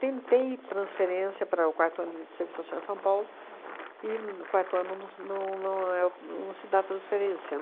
transferência para o quarto ano de serviço social em São Paulo, e no quarto ano não se não não é o não se dá transferência.